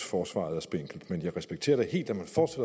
forsvaret er spinkelt men jeg respekterer da helt at